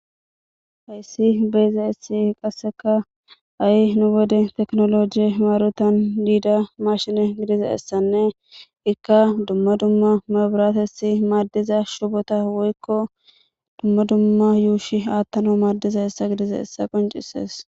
hayssi beyza essi qasseka ai nu bode teknoloji imaarotan diida mashine gidiza essanne ikka dumma dumma maburatessi maaddiza shubota woykko dumma dumma yuushi aattana maaddiza essa gidiza essa qoncisees